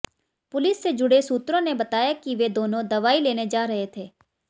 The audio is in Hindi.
पुलिस से जुड़े सूत्रों ने बताया कि वे दोनों दवाई लेने जा रहे थे